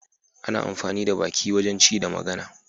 Ana amfani da baki wajen ci da magana.